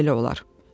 Bax belə olar.